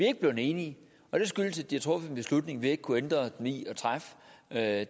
ikke blevet enige og det skyldes at de har truffet en beslutning vi ikke har kunnet hindre dem i at